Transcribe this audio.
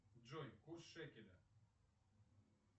джой курс шекеля